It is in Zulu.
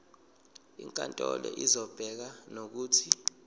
inkantolo izobeka nokuthi